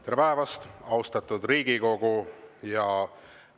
Tere päevast, austatud Riigikogu!